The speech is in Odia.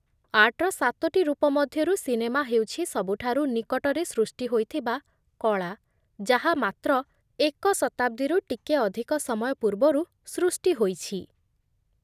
ଆର୍ଟର ସାତୋଟି ରୂପ ମଧ୍ୟରୁ ସିନେମା ହେଉଛି ସବୁଠାରୁ ନିକଟରେ ସୃଷ୍ଟି ହୋଇଥିବା କଳା, ଯାହା ମାତ୍ର ଏକ ଶତାବ୍ଦୀରୁ ଟିକେ ଅଧିକ ସମୟ ପୂର୍ବରୁ ସୃଷ୍ଟି ହୋଇଛି